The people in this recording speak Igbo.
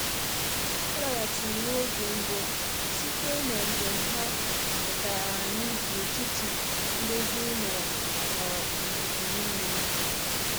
Ha laghachiri n’oge mbụ site na njem ha, chọta anyị n’etiti ndozi ụlọ na uzuzu niile.